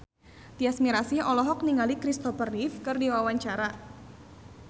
Tyas Mirasih olohok ningali Kristopher Reeve keur diwawancara